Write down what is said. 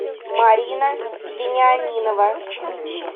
марина вениаминова